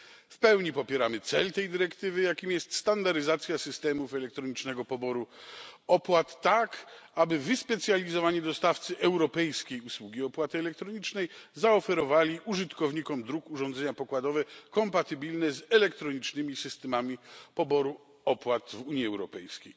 W pełni popieramy cel tej dyrektywy, jakim jest standaryzacja systemów elektronicznego poboru opłat, tak aby wyspecjalizowani dostawcy europejskiej usługi opłaty elektronicznej zaoferowali użytkownikom dróg urządzenia pokładowe kompatybilne z elektronicznymi systemami poboru opłat w Unii Europejskiej.